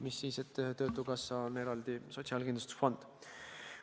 Mis siis, et töötukassa on eraldi sotsiaalkindlustusfond.